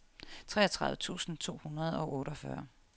treogtredive tusind to hundrede og otteogfyrre